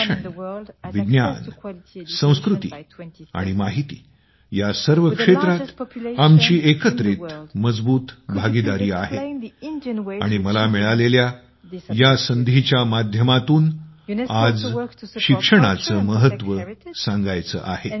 शिक्षण विज्ञान संस्कृती आणि माहिती या सर्व क्षेत्रात आमची एकत्रित मजबूत भागीदारी आहे आणि मला मिळालेल्या या संधीच्या माध्यमातून आज शिक्षणाचे महत्त्व सांगायचे आहे